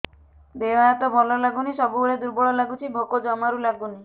ଦେହ ହାତ ଭଲ ଲାଗୁନି ସବୁବେଳେ ଦୁର୍ବଳ ଲାଗୁଛି ଭୋକ ଜମାରୁ ଲାଗୁନି